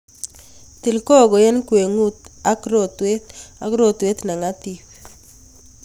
Til koko eng' ngwengut ak rotwet ak rotwet ne ngatip